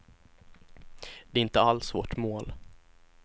Det är alls inte vårt mål.